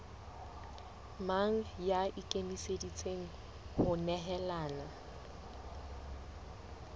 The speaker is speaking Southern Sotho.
mang ya ikemiseditseng ho nehelana